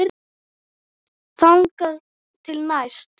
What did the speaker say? Þangað til næst.